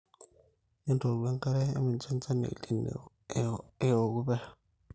entooku enkare, emincho enchan e El nino eeku pesho